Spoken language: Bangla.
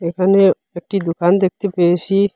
এখানে একটি দুকান দেখতে পেয়েছি।